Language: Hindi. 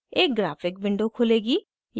एक ग्राफ़िक विंडो खुलेगी